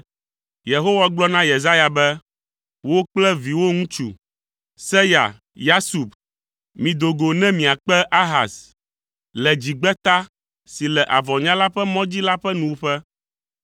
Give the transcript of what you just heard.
Yehowa gblɔ na Yesaya be, “Wò kple viwò ŋutsu, Seya Yasub, mido go ne miakpe Ahaz le dzigbeta si le avɔnyala ƒe mɔdzi la ƒe nuwuƒe.